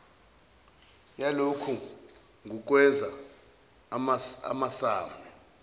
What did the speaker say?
yalokhu ngukwenza amasmme